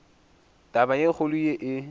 taba e kgolo ye e